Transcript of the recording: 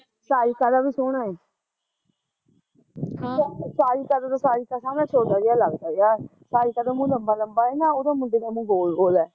ਸਾਰਿਕਾ ਦਾ ਵੀ ਸੋਹਣਾ ਐ ਸਾਰਿਕਾ ਦਾ ਤਾਂ ਸਾਰਿਕਾ ਸਾਹਮਣੇ ਚੋਟਾ ਜਿਹਾ ਲੱਗਦਾ ਯਾਰ, ਸਾਰਿਕਾ ਦਾ ਮੂਹ ਲਬਾ ਲਬਾ ਐ ਨਾ ਉਹਦਾ ਮੁੰਡੇ ਦਾ ਮੂਹ ਗੋਲ ਗੋਲ ਐ